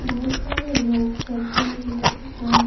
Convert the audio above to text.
बहुत सारे लोग सब्जी ले रहे हैं।